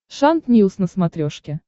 шант ньюс на смотрешке